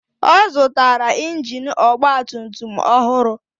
Ọ zụtara injin ọgba tum tum ọhụrụ